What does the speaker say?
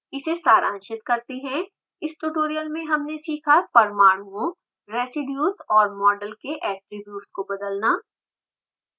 इसे सारांशित करते हैं इस ट्यूटोरियल में हमने सीखा परमाणुओं रेसीड्यूज़ और मॉडल्स के ऐट्रिब्यूट्स को बदलना